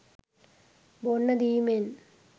බොන්න දීමෙන්